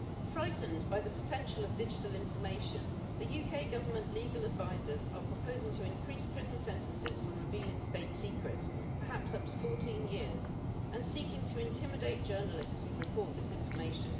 Frightened by the potential of digital information the UK Government's legal advisers are proposing to increase prison sentences for revealing state secrets, perhaps up to 14 years, and seeking to intimidate journalists who report this information.